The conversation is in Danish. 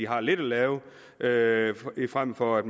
har lidt at lave lave frem for at